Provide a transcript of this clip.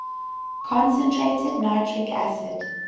concentrated nitric acid